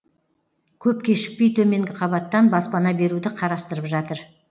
көп кешікпей төменгі қабаттан баспана беруді қарастырып жатыр